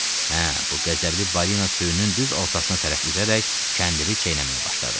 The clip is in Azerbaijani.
Hə, bu qəzəbli balina sürünün düz ortasına tərəf üzərək kəndiri çeynəməyə başladı.